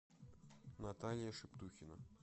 наталья шептухина